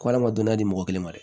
Ko a ma dɔnniya di mɔgɔ kelen ma dɛ